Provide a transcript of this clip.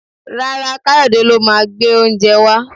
Rárá, Kayode lo máa gbé oúnjẹ wá